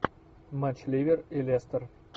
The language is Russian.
матч ливер и лестер